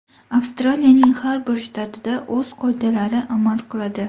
Avstraliyaning har bir shtatida o‘z qoidalari amal qiladi.